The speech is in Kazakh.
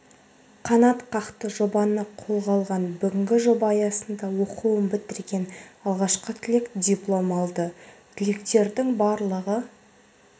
қанатқақты жобаны қолға алған бүгін жоба аясында оқуын бітірген алғашқы түлек диплом алды түлектердің барлығы